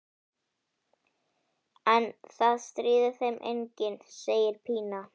En það stríðir þeim enginn, segir Pína.